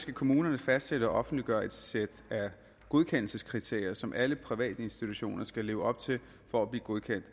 skal kommunerne fastsætte og offentliggøre et sæt godkendelseskriterier som alle privatinstitutioner skal leve op til for at blive godkendt